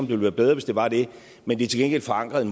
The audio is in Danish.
ville være bedre hvis det var det men det er til gengæld forankret i